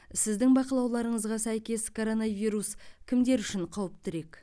сіздің бақылауларыңызға сәйкес коронавирус кімдер үшін қауіптірек